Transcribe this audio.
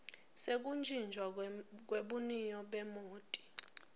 sekutjintjwa kwebuniyo bemoti